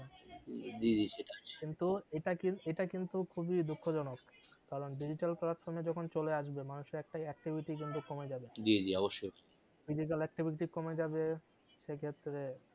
জি জি সেটাই কিন্তু এটা কিন্তু এটা কিন্তু খুবই দুঃখ জনক কারণ digital platform এ যখন চলে আসবে মানুষের কিন্তু কমে যাবে জি জি অবশই কমে যাবে সেক্ষেত্রে